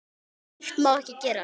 Slíkt má ekki gerast.